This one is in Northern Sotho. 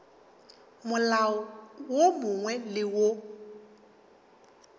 molao wo mongwe le wo